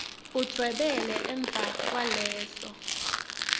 udvwebele emva kwaleso